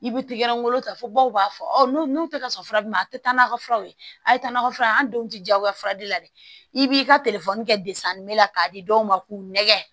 I bɛ t'i ka yɔrɔ ta fo baw b'a fɔ n'u n'u tɛ ka sɔn fura min ma a tɛ taa n'a ka furaw ye a ye taa nakɔ furaw ye an denw tɛ diyagoya fura de la dɛ i b'i ka kɛ la k'a di dɔw ma k'u nɛgɛn